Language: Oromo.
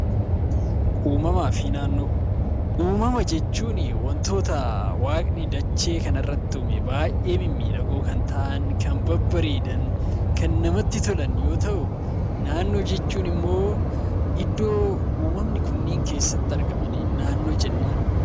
Uumamaa fi naannoo Uumama jechuun waantota waaqni dachee kana irratti uume, baayyee mimmiidhagoo kan ta'an, kan babbareedan, kan namatti bareedan yemmuu ta'u, naannoo jechuun immoo iddoo uumamni kunniin keessatti argaman naannoo jennaan.